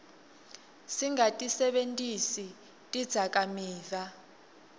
singatisebentisi tidzakamiva